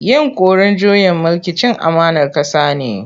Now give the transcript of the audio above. Yinƙurin juyin mulki cin amanar ƙasa ne.